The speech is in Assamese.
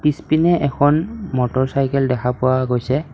পিছপিনে এখন মটৰচাইকেল দেখা পোৱা গৈছে।